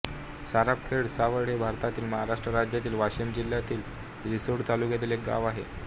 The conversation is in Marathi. सारापखेड सावड हे भारतातील महाराष्ट्र राज्यातील वाशिम जिल्ह्यातील रिसोड तालुक्यातील एक गाव आहे